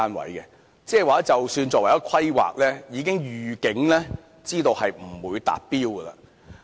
換言之，即使作為規劃，已預警知道不會達標。